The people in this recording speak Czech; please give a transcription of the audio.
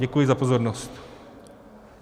Děkuji za pozornost.